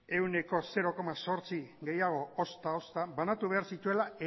ehuneko zero koma zortzi gehiago ozta ozta banatu behar zituela